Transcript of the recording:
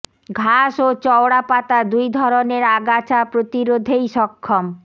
ঘাস ও চওড়া পাতা দুই ধরণের আগাছা প্রতিরোধেই সক্ষম